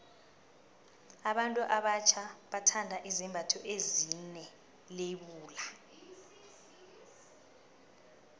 abantu abatjha bathanda izembatho ezine lebula